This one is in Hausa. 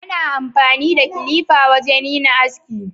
Ana amfani da kilifa wajen yin aski.